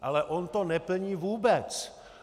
Ale on to neplní vůbec!